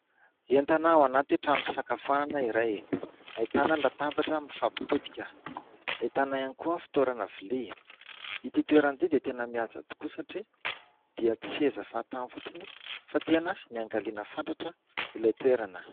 Entana ao anaty trano fisakafoanana iray ahitana latabatra mifampitodika, ahitana ihany koa ny fitoerana vilia. Ity toerana ity dia tena mihaja tokoa satria dia tsy seza fahatany fotsiny fa tena niangaliana fatratra ilay toerana.